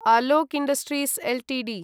Alok industries Ltd